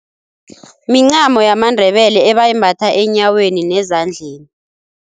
Mincamo yamaNdebele ebayimbatha enyaweni nezandleni.